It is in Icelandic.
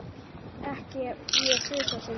Ekki ég þrisvar sinnum.